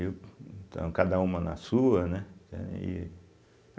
Então, cada uma na sua, né? entende e